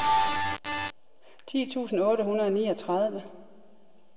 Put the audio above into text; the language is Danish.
ti tusind otte hundrede og niogtredive